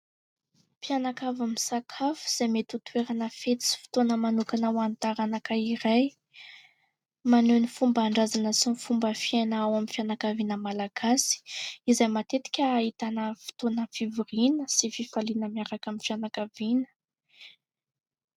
Mpianakavy misakafo, izay mety ho toerana fety sy fotoana manokana ho an'ny taranaka iray ; maneho ny fomban-drazana sy ny fomba fiaina ao amin'ny fianakaviana malagasy, izay matetika ahitana fotoana fivoriana sy fifaliana miaraka amin'ny fianakaviana.